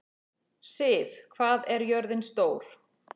Siv, hvað er jörðin stór?